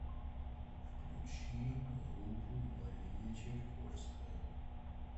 включи группу мария чайковская